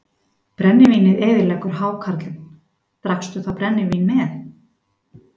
Brennivínið eyðileggur hákarlinn Drakkstu þá brennivín með?